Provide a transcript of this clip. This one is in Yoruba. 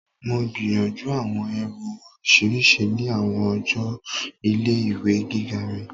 Mo gbiyanju awọn irun oriṣiriṣi ni awọn ọjọ ile-iwe giga mi.